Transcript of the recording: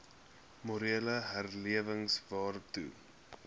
morele herlewing waartoe